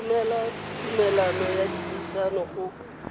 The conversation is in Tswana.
romela tumalano ya dipuisano go